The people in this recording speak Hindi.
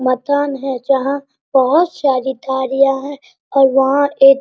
मकान है जहाँ बहुत सारी गाड़ियाँ हैं और वहाँ एक --